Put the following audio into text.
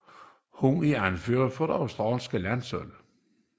Hun er anfører for Australiens landshold